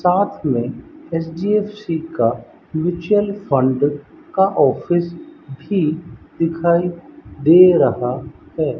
साथ में एच_डी_एफ_सी का म्युचुअल फंड का ऑफिस भी दिखाई दे रहा है।